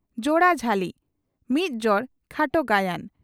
"ᱡᱚᱲᱟ ᱡᱷᱟᱹᱞᱤ" (ᱢᱤᱫ ᱡᱚᱲ ᱠᱷᱟᱴᱚ ᱜᱟᱭᱟᱱ)